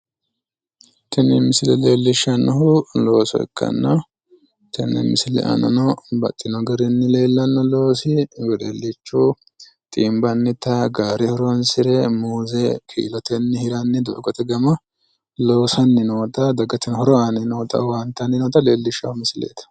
Tini misile leellishshannohu looso ikkanna tenne misile aana noohu babbaxxino garinni leellanno loosi wedellichu xiimbannita gaare horoonsire muuze kiilotenni hiranni gama loosanni noota dagateno hiro aanni noota owaante aanni noota leellishshawo misileeti.